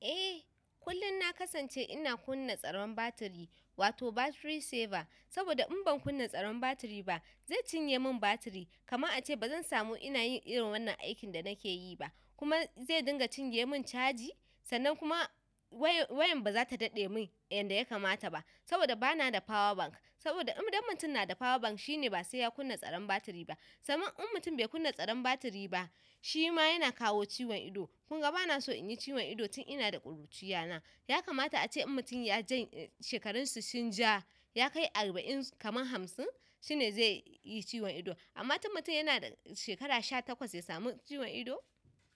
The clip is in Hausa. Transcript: Eh kullum na kasance ina kunna tsaron batiri, wato battery saver. Saboda in ban kunna tsaron batiri ba zai cinye mun batiri kaman ace bazan samu ina yin irin wannan aikin da nake yi ba kuma zai dinga cinye mun caji. Sannan kuma wayan bazata daɗe mun yanda yakamata ba saboda bana da power bank. Saboda indan mutum nada power bank shine ba sai ya kunna tsaron battery ba saman in mutum bai kunna tsaron batiri ba shima yana kawo ciwon ido. Kunga bana so inyi ciwon ido tun inada ƙuruciya na. Yakamata ace in mutun ya jan-- shekarun si sun ja yakai arba'in kaman hamsin shine zaiyi ciwon ido. Amma tun mutum yana da shekara sha takwas ya samu ciwon ido?